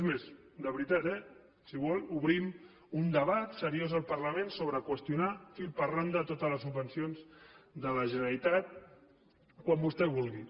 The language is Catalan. és més de veritat eh si vol obrim un debat seriós al parlament sobre qüestionar fil per randa totes les subvencions de la generalitat quan vostè vulgui